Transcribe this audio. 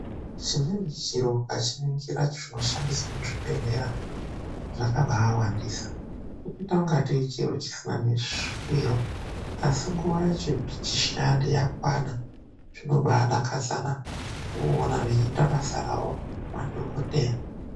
ZVIMWENI ZVIRO UKACHININGISA ZVINOSHANDISWA MUZVIBEHLERA ZVAKABA WANDISA KUITA KUNGE CHISINA NESHWIRO ASI NGUWA YACHO YAKWANA ZVINOBA DAKADZA NAA WOONA WEIITE BASA RAWO MADHOKODEYA